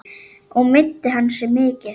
Og meiddi hann sig mikið?